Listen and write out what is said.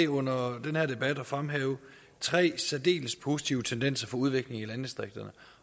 under den her debat at fremhæve tre særdeles positive tendenser for udvikling i landdistrikterne